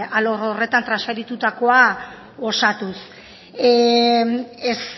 alor horretan transferitutakoa osatuz ez